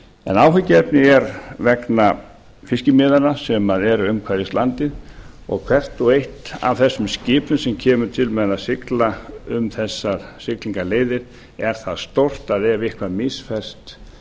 en áhyggjuefnið er vegna fiskimiðanna sem eru umhverfis landið og hvert og eitt af þessum skipum sem kemur til með að sigla um þessar siglingaleiðir er það stórt að ef eitthvað misferst